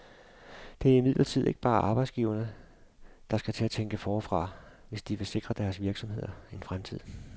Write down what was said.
Det er imidlertid ikke bare arbejdsgiverne, der skal til at tænke forfra, hvis de vil sikre deres virksomheder en fremtid.